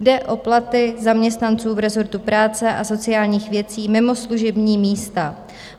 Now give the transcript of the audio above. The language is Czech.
Jde o platy zaměstnanců v rezortu práce a sociálních věcí mimo služební místa.